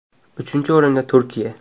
Uchinchi o‘rinda Turkiya.